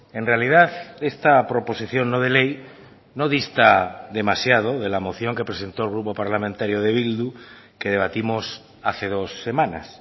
en realidad esta proposición no de ley no dista demasiado de la moción que presentó el grupo parlamentario de bildu que debatimos hace dos semanas